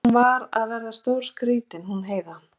Hún var að verða stórskrýtin hún Heiða.